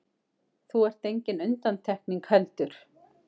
Þú ert engin undantekning heldur.